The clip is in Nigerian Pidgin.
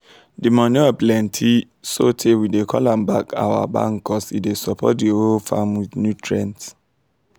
di manure plenty sotey we dey call am our bank cuz e dey support di whole farm with nutrients